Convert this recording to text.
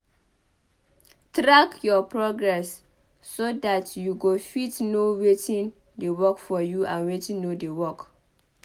Track your progress so dat you go fit know wetin dey work for you and wetin no dey work